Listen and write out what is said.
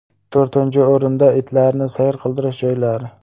To‘rtinchi o‘rinda itlarni sayr qildirish joylari.